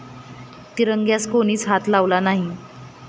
तिरंग्यास कोणीच हात लावला नाही.